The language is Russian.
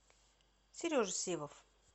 сережа сивов